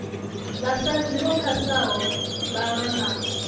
vhasadzi vho phasaho mbalo na